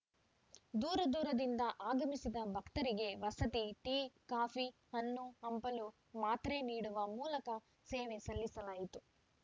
ದೂರ ದೂರದಿಂದ ಆಗಮಿಸಿದ ಭಕ್ತರಿಗೆ ವಸತಿ ಟೀ ಕಾಫಿ ಹಣ್ಣು ಹಂಪಲು ಮಾತ್ರೆ ನೀಡುವ ಮೂಲಕ ಸೇವೆ ಸಲ್ಲಿಸಲಾಯಿತು